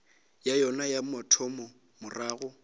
ya yona ya mathomo morago